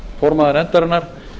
varaformaður nefndarinnar